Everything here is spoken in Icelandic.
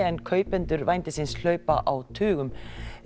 en kaupendur vændisins hlaupa á tugum